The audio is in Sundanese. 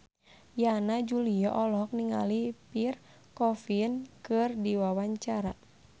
Yana Julio olohok ningali Pierre Coffin keur diwawancara